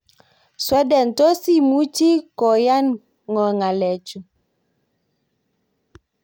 "Sweden, tos imuchi koyan ng'o ng'alechu